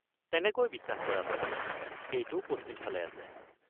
তেনেকৈ বিশ্বাস কৰা হয়, সেইটো পশ্চিমফালে আছে।